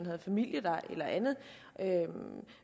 har familie der eller andet